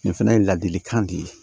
Nin fana ye ladilikan de ye